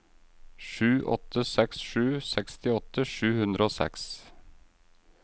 sju åtte seks sju sekstiåtte sju hundre og seks